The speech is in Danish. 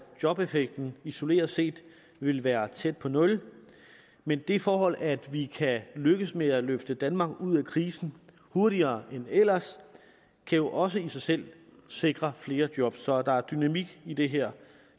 jobeffekten isoleret set vil være tæt på nul men det forhold at vi kan lykkes med at løfte danmark ud af krisen hurtigere end ellers kan jo også i sig selv sikre flere job så der er dynamik i det her